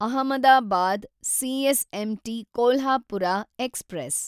Ahmedabad CSMT Kolhapur express